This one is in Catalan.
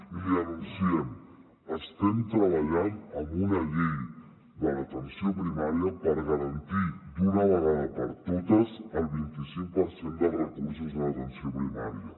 i l’hi anunciem estem treballant en una llei de l’atenció primària per garantir d’una vegada per totes el vint i cinc per cent dels recursos en atenció primària